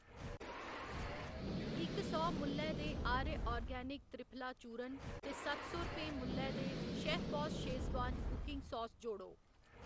इक सौ मुल्लै दे आर्य आर्गेनिक त्रिफला चूर्ण ते सत्त सौ रपेंऽ मुल्लै दे शेफबास शेजवान कुकिंग सास जोड़ो।